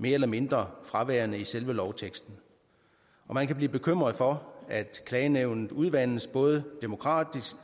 mere eller mindre fraværende i selve lovteksten man kan blive bekymret for at klagenævnet udvandes både demokratisk